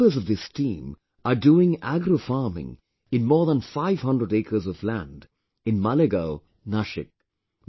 The members of this team are doing Agro Farming in more than 500 acres of land in Malegaon, Nashik